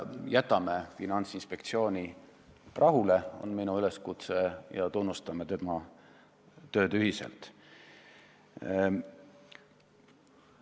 Jätame Finantsinspektsiooni rahule, on minu üleskutse, ja tunnustame tema tööd ühiselt!